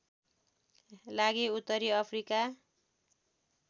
लागि उत्तरी अफ्रिका